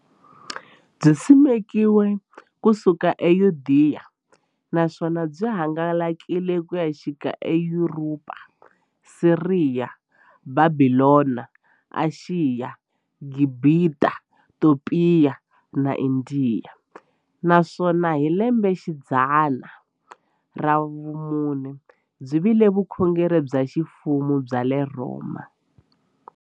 Byisimekiwe ku suka e Yudeya, naswona byi hangalake ku xika eYuropa, Siriya, Bhabhilona, Ashiya, Gibhita, Topiya na Indiya, naswona hi lembexidzana ra vumune byi vile vukhongeri bya ximfumo bya le Rhoma.